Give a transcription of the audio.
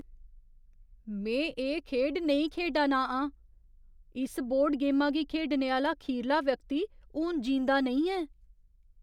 में एह् खेढ नेईं खेढा ना आं। इस बोर्ड गेमा गी खेढने आह्‌ला खीरला व्यक्ति हून जींदा नेईं ऐ।